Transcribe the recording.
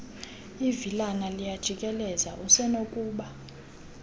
ivilana liyajikeleza usenokuba